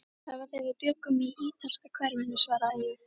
Það var þegar við bjuggum í ítalska hverfinu svaraði ég.